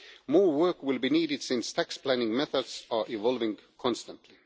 More work will be needed, since tax planning methods are evolving constantly.